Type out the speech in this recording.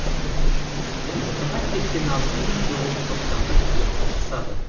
ұбт ға сексен алты мың тоғыз жүз тоқсан бір түлек қатысады